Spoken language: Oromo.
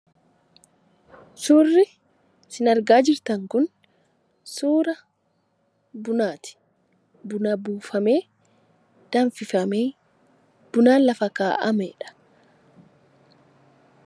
Suurri isin argaa jirtan kun suura bunaati. Buna buufamee, danfifamee, buna lafa kaa'ameedha.